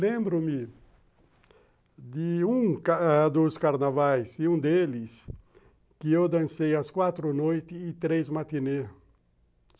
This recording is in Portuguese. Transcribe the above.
Lembro-me de um dos carnavais, de um deles, que eu dancei às quatro noite e três no matinê.